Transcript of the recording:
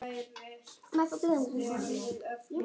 Þór er þeirra elstur.